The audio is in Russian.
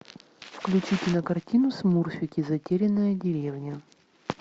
включи кинокартину смурфики затерянная деревня